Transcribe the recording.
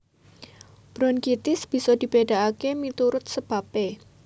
Brokitis bisa dibedakake miturut sebabe